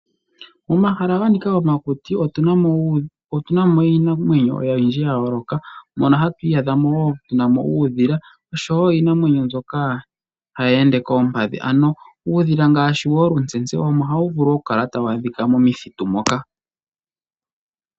Omahala ganika omakuti otuna mo iinamwenyo oyindji yayoloka mono hatu iya dhamo wo tuunamo uudhila oshowo iinamwenyo mbyoka hayi ende koompadhi , ano uudhila ngashi wolutseyi ohawu vulu okukala tawu adhika momuthitu moka.